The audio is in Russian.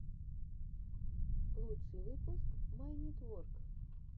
лучший выпуск майнитворк